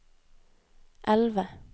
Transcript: elve